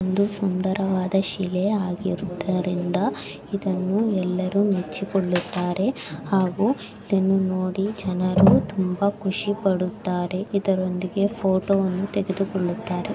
ಒಂದು ಸುಂದರವಾದ ಶಿಲೆ ಆಗಿರೋದರಿಂದ ಇದನ್ನು ಎಲ್ಲರು ಮೆಚ್ಚಿಕೋಳುತಾರೆ ಹಾಗು ಇದನ್ನು ನೋಡಿ ಜನರು ತುಂಬಾ ಖುಷಿ ಪಡುತಾರೆ ಇದರೊಂದೊಂದಿಗೆ ಫೋಟೋ ವನ್ನು ತೆಗೆದುಕೊಳ್ಳುತ್ತಾರೆ.